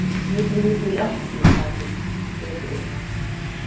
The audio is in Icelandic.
Ég trúi því ekki, sagði Friðrik.